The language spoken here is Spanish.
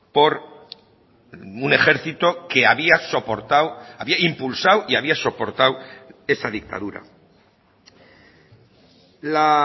por un ejército que había soportado había impulsado y había soportado esa dictadura la